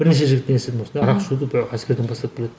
бірнеше жігіттен естідім осындай арақ ішуді әскерден бастап біледі